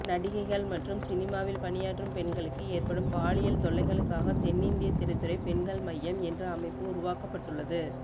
நடிகைகள் மற்றும் சினிமாவில் பணியாற்றும் பெண்களுக்கு ஏற்படும் பாலியல் தொல்லைகளுக்காகத் தென்னிந்திய திரைத்துறை பெண்கள் மையம் என்ற அமைப்பு உருவாக்கப்பட்டுள்ளது